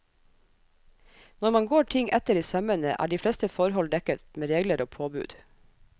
Når man går ting etter i sømmene, er de fleste forhold dekket med regler og påbud.